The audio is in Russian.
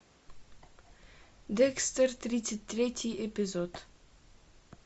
декстер тридцать третий эпизод